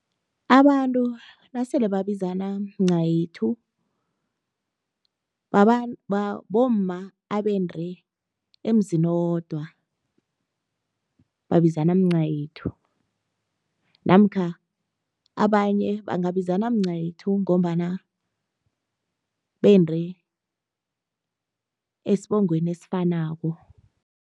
Abantu nasele babizana mncayethu, bomma abende emzini owodwa, babizana mncayethu namkha abanye bangabizana mncayethu ngombana bende esibongweni esifanako.